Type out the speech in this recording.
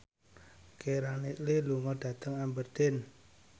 Keira Knightley lunga dhateng Aberdeen